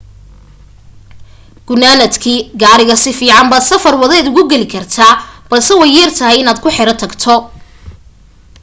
gunaanadkii gaariga si fiican baad safar waddeed ugu gali kartaa balse way yar tahay inaad ku xero tagto